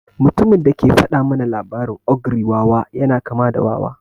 Mutumin da ke faɗa mana labarin ogre wawa yana kama da wawa.